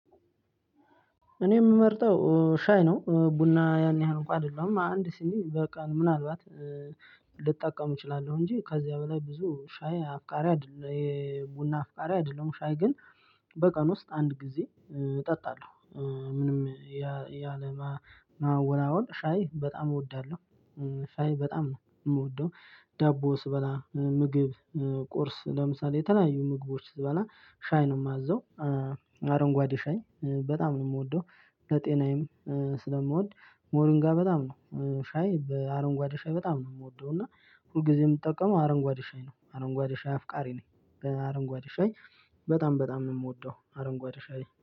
እኔ የምመርጠው ሻይ ነው ቡና ያን ያህል እንኳን አይደለሁም አንድ ሲኒ በቀን ምናልባት ልጠቀም እችላለሁ እንጂ ከዚያ በላይ ብዙ ሻይ አፍቃሪ አይደለም የቡና አፍቃሪ አይደለም። ሻይ ግን በቀን ውስጥ አንድ ጊዜ እጠጣለሁ። ምንም ያለማወላወል ሻይ በጣም እወዳለሁ ሻይ በጣም ነው የምወደው። ዳቦ ስበላ ምግብ ቁርስ ለምሳሌ የተለያዩ ምግቦች ስበላ ሻይ ነው የማዘው። አረንጓዴ ሻይ በጣም ነው የምወደው ለጤናዬም ስለምወድ ሞሪንጋ በጣም ነው ሻይ በአረንጓዴ ሻይ በጣም ነው የምወደው። እና ሁልጊዜም የምጠቀመው አረንጓዴ ሻይ ነው አረንጓዴ ሻይ አፍቃሪ ነኝ። በአረንጓዴ ሻይ በጣም በጣም ነው የምወደው አረንጓዴ ሻይ